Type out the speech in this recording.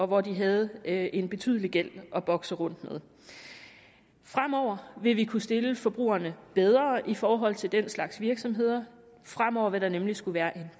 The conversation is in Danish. hvor de havde en betydelig gæld at bokse rundt med fremover vil vi kunne stille forbrugerne bedre i forhold til den slags virksomheder fremover vil der nemlig skulle være en